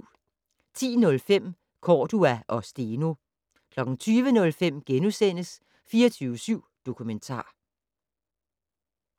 10:05: Cordua og Steno 20:05: 24syv Dokumentar *